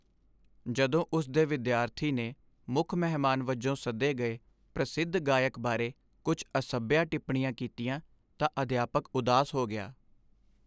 ਜਦੋਂ ਉਸ ਦੇ ਵਿਦਿਆਰਥੀ ਨੇ ਮੁੱਖ ਮਹਿਮਾਨ ਵਜੋਂ ਸੱਦੇ ਗਏ ਪ੍ਰਸਿੱਧ ਗਾਇਕ ਬਾਰੇ ਕੁੱਝ ਅਸੱਭਿਆ ਟਿੱਪਣੀਆਂ ਕੀਤੀਆਂ ਤਾਂ ਅਧਿਆਪਕ ਉਦਾਸ ਹੋ ਗਿਆ।